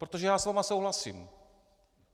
Protože já s vámi souhlasím.